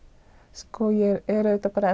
sko ég er auðvitað bara